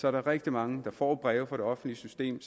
er der rigtig mange der får breve fra det offentlige system